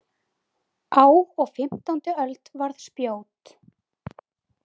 Á og fimmtándi öld varð spjót.